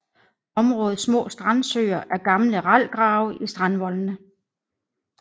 Områdets små strandsøer er gamle ralgrave i strandvoldene